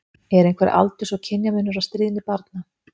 Er einhver aldurs- og kynjamunur á stríðni barna?